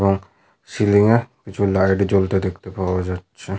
এবং সিলিং এ কিছু লাইট জ্বলতে দেখতে পাওয়া যাচ্ছে।